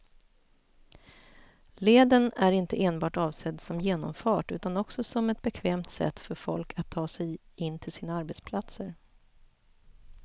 Leden är inte enbart avsedd som genomfart utan också som ett bekvämt sätt för folk att ta sig in till sina arbetsplatser.